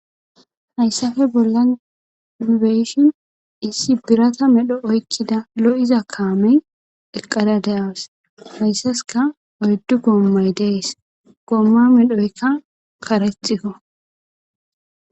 hayssafe bolla beyishin issi birata medho oykkida lo7iza kaamey eqqada de,awus hayssaska oyddu goommay dees gomma medhoykka karethikko